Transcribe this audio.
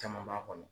Caman b'a kɔnɔ